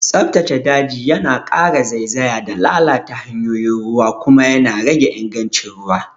Tsabtace daji yana ƙara zaizaya da lalata hanyoyin ruwa kuma yana rage ingancin ruwan.